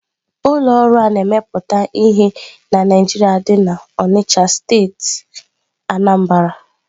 Ụlọ ọrụ a na-emepụta ihe na Naijiria dị na Onitsha steeti Anambra.